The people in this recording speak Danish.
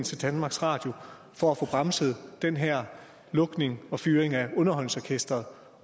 til danmarks radio for at få bremset den her lukning og fyring af underholdningsorkestret